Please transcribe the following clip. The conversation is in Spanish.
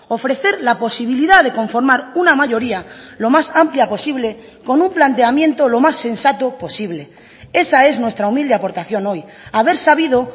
ofrecer la posibilidad de conformar una mayoría lo más amplia posible con un planteamiento lo más sensato posible esa es nuestra humilde aportación hoy haber sabido